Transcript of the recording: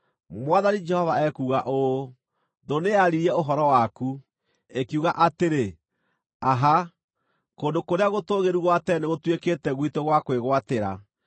Mwathani Jehova ekuuga ũũ: Thũ nĩyaaririe ũhoro waku, ĩkiuga atĩrĩ, “Aha! Kũndũ kũrĩa gũtũũgĩru gwa tene nĩgũtuĩkĩte gwitũ gwa kwĩgwatĩra.” ’